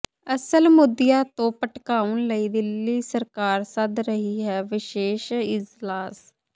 ਅਸਲ ਮੁੱਦਿਆਂ ਤੋਂ ਭਟਕਾਉਣ ਲਈ ਦਿੱਲੀ ਸਰਕਾਰ ਸੱਦ ਰਹੀ ਹੈ ਵਿਸ਼ੇਸ਼ ਇਜਲਾਸ